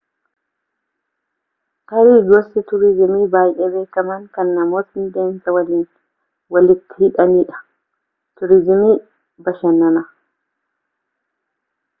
tarii gosti tuurizimii baayee beekamaan kan namootni deemsa waliin waliitti hidhaanidha tuuriizimii bashannanaa